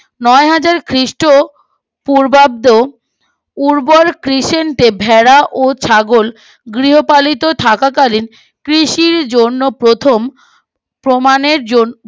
নয় হাজার খ্রিস্ট পূর্বাব্দ উর্বর কৃষান্তে ভেড়া ও ছাগল গৃহপালিত থাকাকালীন কৃষির জন্য প্রথম প্রমানের জন